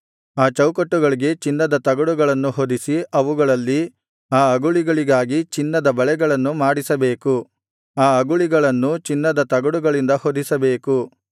ಆ ಚೌಕಟ್ಟುಗಳಿಗೆ ಚಿನ್ನದ ತಗಡುಗಳನ್ನು ಹೊದಿಸಿ ಅವುಗಳಲ್ಲಿ ಆ ಅಗುಳಿಗಳಿಗಾಗಿ ಚಿನ್ನದ ಬಳೆಗಳನ್ನು ಮಾಡಿಸಬೇಕು ಆ ಅಗುಳಿಗಳನ್ನೂ ಚಿನ್ನದ ತಗಡುಗಳಿಂದ ಹೊದಿಸಬೇಕು